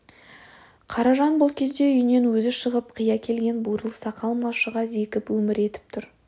қаражан бұл кезде үйінен өзі шығып қи әкелген бурыл сақал малшыға зекіп өмір етіп тұр